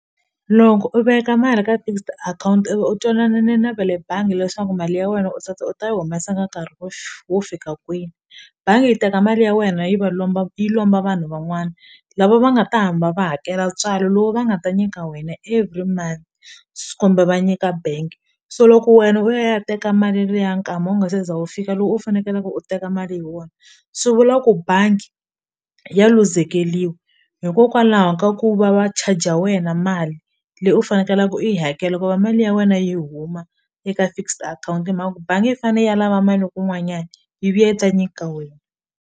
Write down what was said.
Loko u veka mali ka fixed akhawunti u twanane na va le bangi leswaku mali ya wena u tata u ta yi humesa ka nkarhi wo wo fika kwini bangi yi teka mali ya wena yi va lomba yi lomba vanhu van'wani lava va nga ta hamba va hakela ntswalo lowu va nga ta nyika wena every month kumbe va nyika bank so loko wena u ya ya teka mali liya nkama u nga se za wu fika lowu u fanekelaka u teka mali hi wona swi vula ku bangi ya luzekeliwa hikokwalaho ka ku va va charger wena mali leyi u fanekelaku u yi hakela loko va mali ya wena yi huma eka fixed akhawunti hi mhaka ku bangi yi fane yi ya lava mali ya kun'wanyani yi vuya yi ta nyika wena.